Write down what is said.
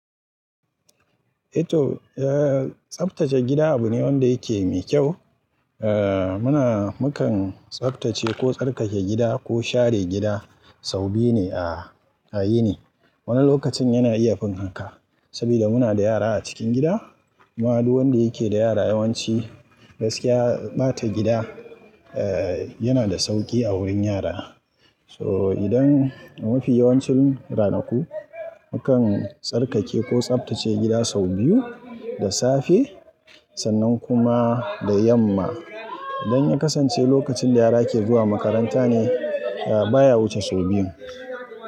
Ito, eh, tsaftace gida abu ne wanda yake da kyau. A muna, mukan tsaftace ko tsarkake gida ko share gida sau biyu ne a, a yini. Wani lokacin yana iya fin haka, saboda muna da yara a cikin gida. Ba wani wanda yake da yara yawanci, gaskiya ɓata gida, eh, yana da sauƙi a wurin yara. So idan mafi yawancin ranaku mukan tsarkake ko tsaftace gida sau biyu, da safe, sannan kuma da yamma. Idan ya kasance lokacin da yara ke zuwa makaranta ne, baya wuce sau biyu.